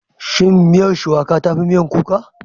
Shin miyar Shuwaƙa ta fi miyan kuka?